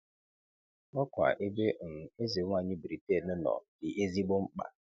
Ọkwa ebe um Ezenwanyị Britain nọ dị ezigbo mkpa.